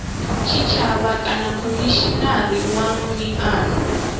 tshitshavha kana khomishinari wa miano